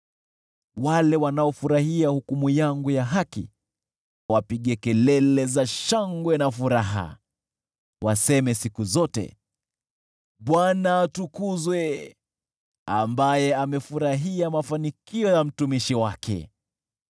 Wale wanaofurahia hukumu yangu ya haki wapige kelele za shangwe na furaha; hebu waseme siku zote, “ Bwana atukuzwe, ambaye amefurahia mafanikio ya mtumishi wake.”